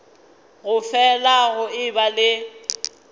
go fele go eba le